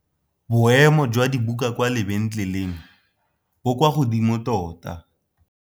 Boêmô jwa dibuka kwa lebentlêlêng bo kwa godimo tota.